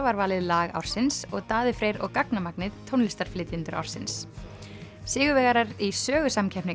var valið lag ársins og Daði Freyr og gagnamagnið tónlistarflytjendur ársins sigurvegarar í sögusamkeppni